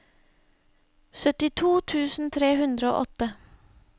syttito tusen tre hundre og åtte